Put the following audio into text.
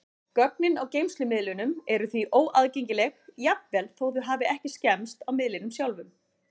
Gögnin á geymslumiðlunum eru því óaðgengileg, jafnvel þó þau hafi ekki skemmst á miðlinum sjálfum.